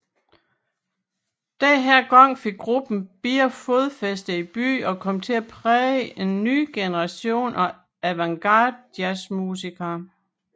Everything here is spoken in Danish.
Denne gang fik gruppen bedre fodfæste i byen og kom til at præge en ny generation af avantgardejazzmusikere